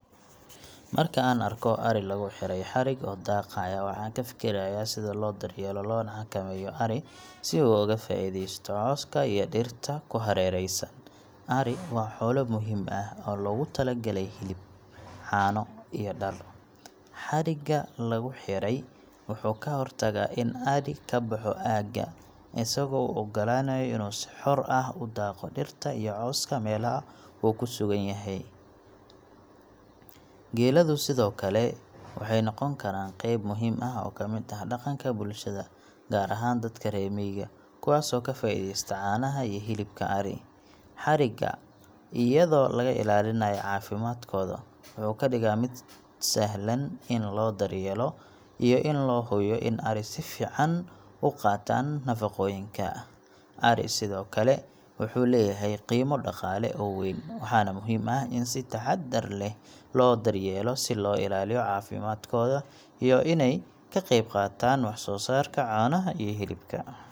Marka aan arko ari lagu xidhay xadhig oo daaqaya, waxaan ka fikirayaa sida loo daryeelo loona xakameeyo ari si uu uga faa'iidaysto cawska iyo dhirta ku hareeraysan. Ari waa xoolo muhiim ah oo loogu talagalay hilib, caano, iyo dhar. Xadhigga lagu xidhay wuxuu ka hortagaa in ari ka baxo aagga, isagoo u oggolaanaya inuu si xor ah u daaqo dhirta iyo cawska meelaha uu ku sugan yahay. Geeladu sidoo kale waxay noqon karaan qayb muhiim ah oo ka mid ah dhaqanka bulshada, gaar ahaan dadka reer miyiga, kuwaasoo ka faa'iideysta caanaha iyo hilibka ari. Xadhigga, iyadoo laga ilaalinayo caafimaadkooda, wuxuu ka dhigaa mid sahlan in loo daryeelo iyo in loo hubiyo in ari si fiican u qaataan nafaqooyinka. Ariga sidoo kale wuxuu leeyahay qiimo dhaqaale oo weyn, waxaana muhiim ah in si taxaddar leh loo daryeelo si loo ilaaliyo caafimaadkooda iyo inay ka qayb qaataan wax soo saarka caanaha iyo hilibka.